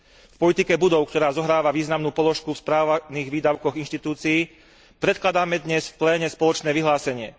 K politike budov, ktorá zohráva významnú položku v správnych výdavkoch inštitúcií, predkladáme dnes v pléne spoločné vyhlásenie.